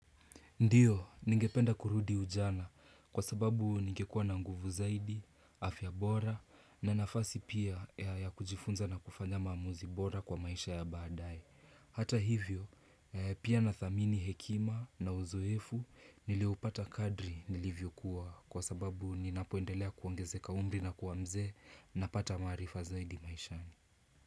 Ndio, ningependa kurudi ujana kwa sababu ningekua na nguvu zaidi, afya bora na nafasi pia ya kujifunza na kufanya maamuzi bora kwa maisha ya baadae Hata hivyo, pia nadhamini hekima na uzoefu nilioupata kadri nilivyokuwa kwa sababu ninapoendelea kuangezeka umri na kua mzee napata maarifa zaidi maishani.